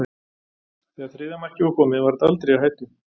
Þegar þriðja markið var komið var þetta aldrei í hættu.